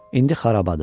İndi xarabadır.